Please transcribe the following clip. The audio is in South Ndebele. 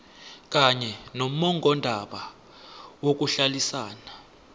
kanye nommongondaba yokuhlalisana